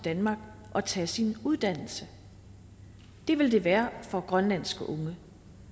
danmark og tage sin uddannelse det vil der være for grønlandske unge